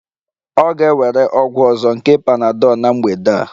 Ọ ga-ewere ọgwụ ọzọ nke panadol na mgbede a